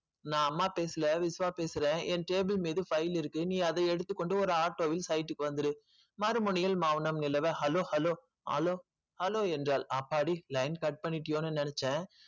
நா அம்மா பேசல விஷ்வா பேசுறன் என் table மீது file இருக்கு அதை நீ எடுத்துக்கொண்டு ஒரு auto வில் site க்கு வந்துரு மறுமுனையில் மௌனம் நிலவ hello hello hello hello hello என்றால் அப்பாடி line cut பண்ணிட்டியோனு நெனச்சன்.